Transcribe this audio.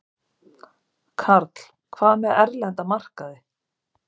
Karl: Hvað með erlenda markaði?